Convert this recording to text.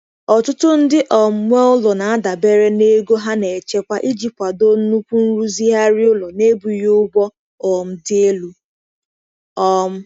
Ọtụtụ ndị um nwe ụlọ na-adabere na ego ha na-echekwa iji kwado nnukwu nrụzigharị ụlọ na-ebughị ụgwọ um dị elu. um